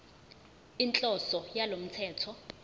inhloso yalo mthetho